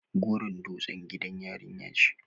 goron dutse gidan yarin yara ce